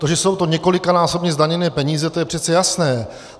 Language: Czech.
To, že jsou to několikanásobně zdaněné peníze, to je přece jasné.